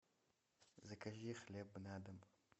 закажи хлеб на дом